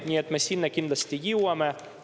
Nii et me sinna kindlasti jõuame.